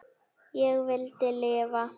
Ég vildi lifa.